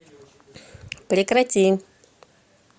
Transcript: прекрати